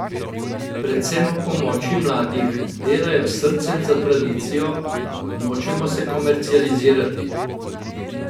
Predvsem ob pomoči mladih: 'Delajo s srcem za tradicijo, nočemo se komercializirati.